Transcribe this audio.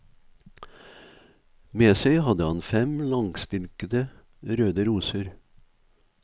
Med seg hadde han fem langstilkede, røde roser.